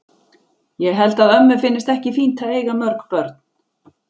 Ég held að ömmu finnist ekki fínt að eiga mörg börn.